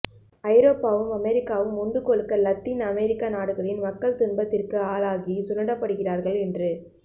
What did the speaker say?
ஐரோப்பாவும் அமெரிக்காவும் உண்டு கொழுக்க இலத்தீன் அமெரிக்க நாடுகளின் மக்கள் துன்பத்திற்கு ஆளாகி சுரண்டப்படுகிறார்கள் என்று